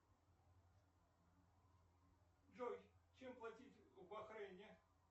джой чем платить в бахрейне